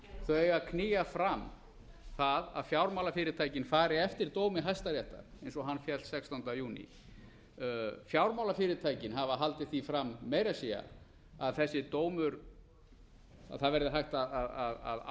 þau eiga að knýja fram það að fjármálafyrirtækin fari eftir dómi hæstaréttar eins og hann féll sextánda júní fjármálafyrirtækin hafa haldið því fram meira að segja að þessi dómur að það verði hægt að